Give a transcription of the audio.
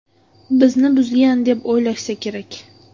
Bizni buzgan deb o‘ylashsa kerak.